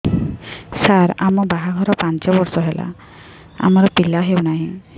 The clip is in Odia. ସାର ଆମ ବାହା ଘର ପାଞ୍ଚ ବର୍ଷ ହେଲା ଆମର ପିଲା ହେଉନାହିଁ